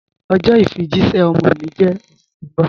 Ọjọ ifijìṣẹ̀ ọmọ mi jẹ́ oṣù ti n bọ̀.